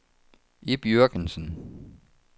Ib Jürgensen